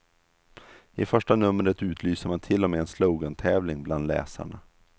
I första numret utlyser man till och med en slogantävling bland läsarna.